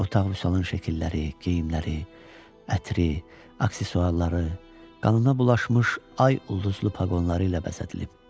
Otaq Vüsalın şəkilləri, geyimləri, ətri, aksesuarları, qanına bulaşmış ay ulduzlu paqonları ilə bəzədilib.